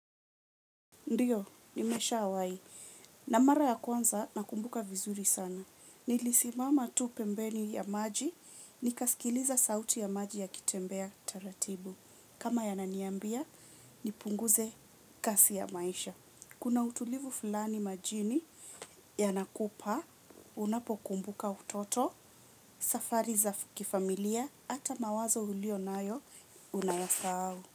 Ndiyo, nimeshawahi. Na mara ya kwanza, nakumbuka vizuri sana. Nilisimama tu pembeni ya maji, nikasikiliza sauti ya maji yakitembea taratibu. Kama yananiambia, nipunguze kasi ya maisha. Kuna utulivu fulani majini yanakupa unapokumbuka utoto, safari za kifamilia hata mawazo uliyo nayo unayasahau.